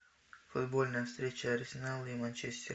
футбольная встреча арсенал и манчестер